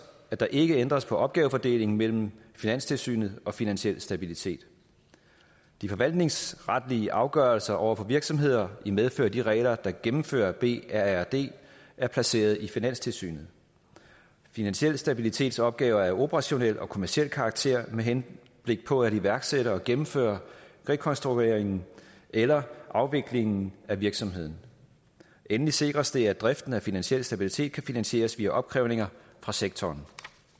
at der ikke ændres på opgavefordelingen mellem finanstilsynet og finansiel stabilitet de forvaltningsretlige afgørelser over for virksomheder i medfør af de regler der gennemfører brrd er placeret i finanstilsynet finansiel stabilitets opgaver er af operationel og kommerciel karakter med henblik på at iværksætte og gennemføre rekonstrueringen eller afviklingen af virksomheden endelig sikres det at driften af finansiel stabilitet kan finansieres via opkrævninger fra sektoren